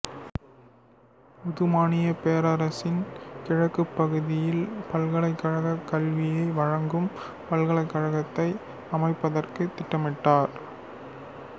உதுமானிய பேரரசின் கிழக்குப் பகுதியில் பல்கலைக்கழகக் கல்வியை வழங்கும் பல்கலைக்கழகத்தை அமைப்பதற்கு திட்டமிட்டார்